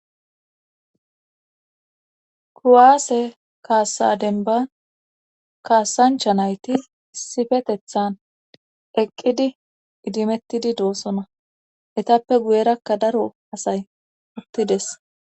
Kuwaase kaassa denba kaassancha nayti issifetethan eqqidi idimettidi doossona etappe guyerakka daro asay uttides.